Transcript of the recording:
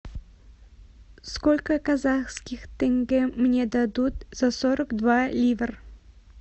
сколько казахских тенге мне дадут за сорок два ливр